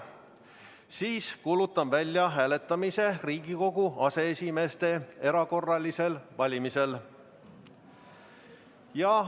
Siis kuulutan välja hääletamise Riigikogu aseesimeeste erakorralisel valimisel.